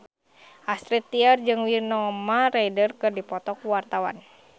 Astrid Tiar jeung Winona Ryder keur dipoto ku wartawan